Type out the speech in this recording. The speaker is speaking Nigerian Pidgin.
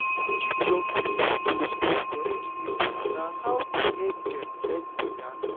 to give young pipo for school correct info na how to help dem learn better.